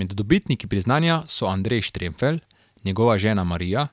Med dobitniki priznanja so Andrej Štremfelj, njegova žena Marija,